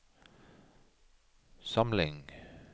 samling